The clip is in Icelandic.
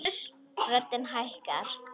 Röddin hækkar.